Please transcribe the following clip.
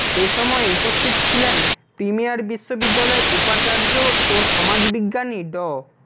এ সময় উপস্থিত ছিলেন প্রিমিয়ার বিশ্ববিদ্যালয়ের উপাচার্য ও সমাজবিজ্ঞানী ড